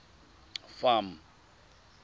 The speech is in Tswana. farm